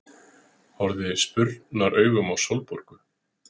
Horfði spurnaraugum á Sólborgu.